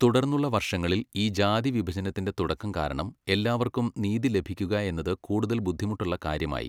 തുടർന്നുള്ള വർഷങ്ങളിൽ ഈ ജാതി വിഭജനത്തിന്റെ തുടക്കം കാരണം എല്ലാവർക്കും നീതി ലഭിക്കുകയെന്നത് കൂടുതൽ ബുദ്ധിമുട്ടളള കാര്യമായി.